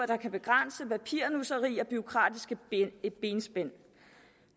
der kan begrænse papirnusseri og bureaukratiske benspænd